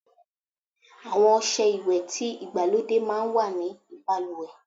Àwon ose ìwè ti igbalode máa n wa ní baluwe